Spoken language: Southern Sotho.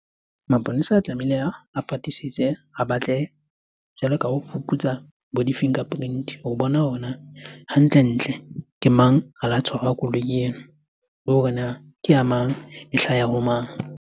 Maponesa a tlamehile, a fatisise, a batle jwalo ka ho fuputsa bo di-fingerprint ho bona hantle ntle ke mang a la tshwarwa koloi ena le hore na ke ya mang e hlaha ho mang.